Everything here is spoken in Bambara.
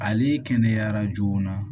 Ale kɛnɛyara joona